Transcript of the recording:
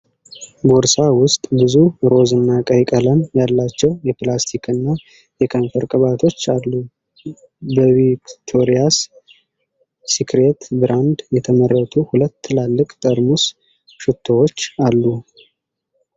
ቦርሳ ውስጥ ብዙ ሮዝ እና ቀይ ቀለም ያላቸው የሊፕስቲክ እና የከንፈር ቅባቶች አሉ። በቪክቶሪያስ ሲክሬት ብራንድ የተመረቱ ሁለት ትላልቅ ጠርሙስ ሽቶዎችም አሉ።